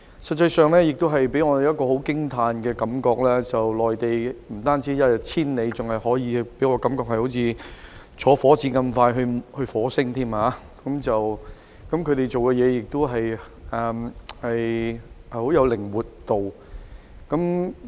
事實上，我們有一種很驚嘆的感覺，就是內地的發展不但一日千里——我更加感到它的發展像火箭那樣，快得已到達火星——內地辦事也有相當靈活度。